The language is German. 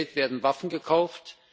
Mit dem Geld werden Waffen gekauft.